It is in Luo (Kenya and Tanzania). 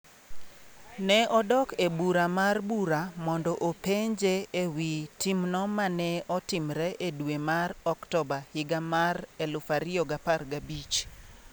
Ne odok e Bura mar Bura mondo openje ewi timno mane otimre e dwe mar Oktoba higa mar 2015.